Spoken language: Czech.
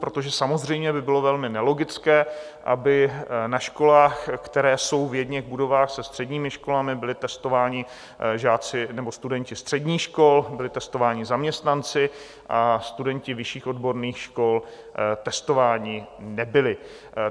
Protože samozřejmě by bylo velmi nelogické, aby na školách, které jsou v jedněch budovách se středními školami, byli testováni žáci nebo studenti středních škol, byli testováni zaměstnanci, a studenti vyšších odborných škol testováni nebyli.